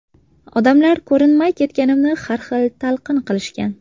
Odamlar ko‘rinmay ketganimni har xil talqin qilishgan.